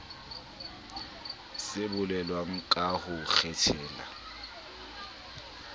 se bolelwang ka ho kgethela